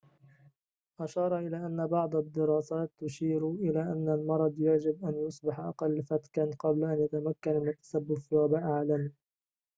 أشار إلى أن بعض الدراسات تشير إلى أن المرض يجب أن يصبح أقل فتكًا قبل أن يتمكن من التسبب في وباء عالمي